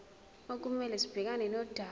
okumele sibhekane nodaba